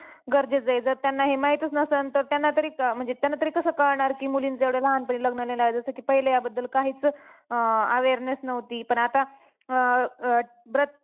गरजेचं आहे जर त्यांना हे माहितीच नसेन तर त्यांना तरी अं म्हणजे त्यांना तरी कसं कळणार की मुलींचं एवढ्या लहानपणी लग्न नाही लवायचं जसं की पहिले याबद्दल काहीचं अं awareness नव्हती पण आता अं अं